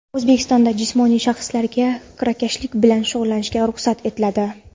O‘zbekistonda jismoniy shaxslarga kirakashlik bilan shug‘ullanishga ruxsat etiladi.